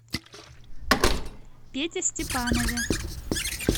пете степанове